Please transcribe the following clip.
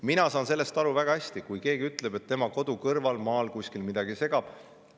Ma saan väga hästi aru sellest, kui keegi ütleb, et tema kodu kõrval maal kuskil midagi teda segab.